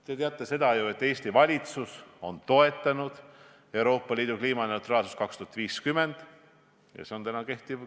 Te teate ju, et Eesti valitsus on toetanud Euroopa Liidu sihti saavutada 2050. aastaks kliimaneutraalsus.